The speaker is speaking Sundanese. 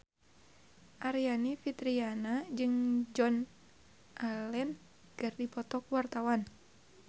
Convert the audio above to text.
Aryani Fitriana jeung Joan Allen keur dipoto ku wartawan